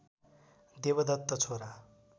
देवदत्त छोरा